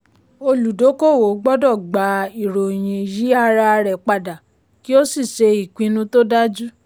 olùdókòwò gbọ́dọ̀ gba ìròyìn yí ara rẹ̀ padà kí ó sì ṣe ìpinnu tó dájú.